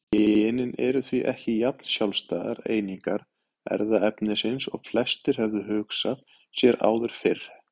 Genin eru því ekki jafn sjálfstæðar einingar erfðaefnisins og flestir höfðu hugsað sér áður fyrr.